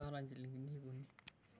Kaata nchilingini iip uni.